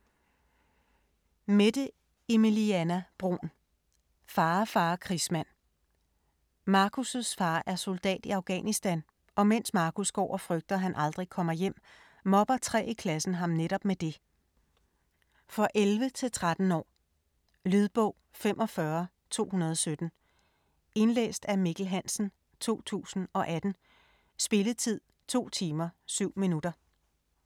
Bruun, Mette Emilieanna: Far, fare krigsmand Marcus far er soldat i Afghanistan og mens Marcus går og frygter, han aldrig kommer hjem, mobber tre i klassen ham netop med det. For 11-13 år. Lydbog 45217 Indlæst af Mikkel Hansen, 2018. Spilletid: 2 timer, 7 minutter.